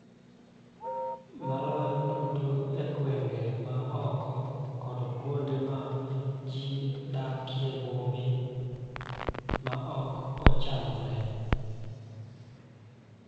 Maloyo duto e gwenge ma oko kod kuonde ma ji dak e bombe ma ok ochanore.